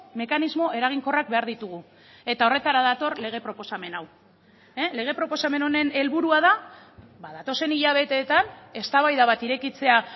mekanismo eraginkorrak behar ditugu eta horretara dator lege proposamen hau lege proposamen honen helburua da datozen hilabetetan eztabaida bat irekitzea